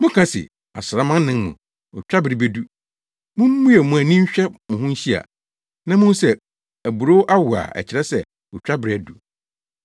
Moka se, ‘Asram anan mu, otwabere bedu.’ Mummue mo ani nhwɛ mo ho nhyia, na muhu sɛ aburow awo a ɛkyerɛ sɛ, otwabere adu!